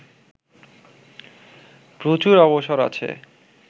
প্রচুর অবসর আছে